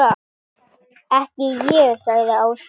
Ekki ég sagði Áslaug.